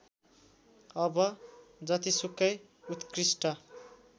अब जतिसुकै उत्कृष्ट